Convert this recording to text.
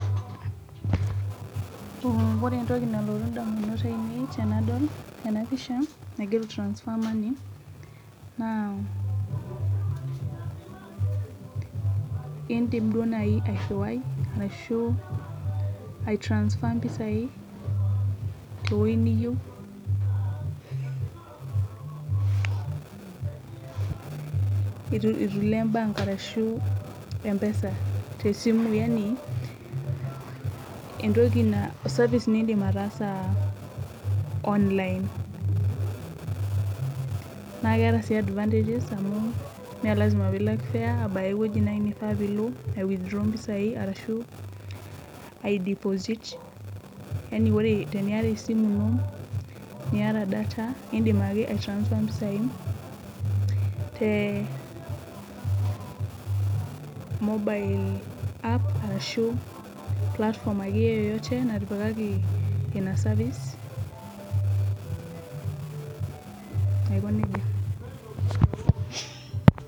Wore entoki nalotu indamunot aiinei tenadol ena pisha naigiero transfer money, naa iindim duo nai airriwai arashu ai transfer impisai tewoji niyieu itu ilo bank arashu Mpesa, tesimu yaani entoki service niidim ataasa online. Naa keeta sii advantages amu mee lasima pee ilak fare abaki ewoji naaji naifaa pee ilo ai withdraw impisai arashu ai deposit, Yani wore teniata esimu ino, niata data iindim ake ai transfer impisai, te Mobile app arashu platform akeyie yeyote natipikaki ina service, aikonejia.